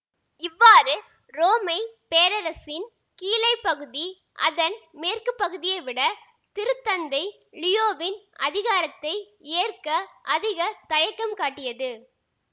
இவ்வாறு உரோமை பேரரசின் கீழைப் பகுதி அதன் மேற்கு பகுதியை விட திருத்தந்தை லியோவின் அதிகாரத்தை ஏற்க அதிக தயக்கம் காட்டியது